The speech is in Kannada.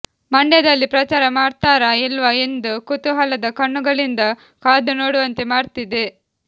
ಮಂಡ್ಯದಲ್ಲಿ ಪ್ರಚಾರ ಮಾಡ್ತಾರ ಇಲ್ವಾ ಎಂದು ಕುತೂಹಲದ ಕಣ್ಣುಗಳಿಂದ ಕಾದುನೋಡುವಂತೆ ಮಾಡ್ತಿದೆ